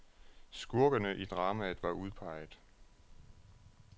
Skurkene i dramaet var udpeget.